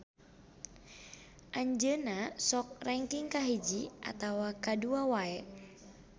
Anjeunna sok rengking kahiji atawa kadua wae.